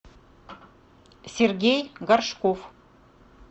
сергей горшков